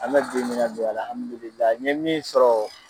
An bɛɛ be ɲini ka don a la alihamidulilayi n ye min sɔrɔ